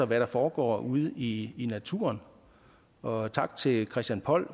hvad der foregår ude i naturen og tak til christian poll